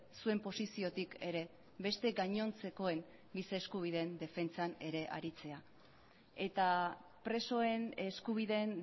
zuen posiziotik ere beste gainontzekoen gisa eskubideen defentsan ere aritzea eta presoen eskubideen